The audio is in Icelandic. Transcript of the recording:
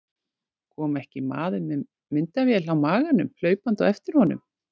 Kom ekki maður með myndavél á maganum hlaupandi á eftir honum.